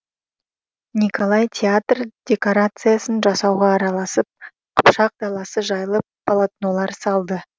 николай театр декорациясын жасауға араласып қыпшақ даласы жайлы полотнолар салды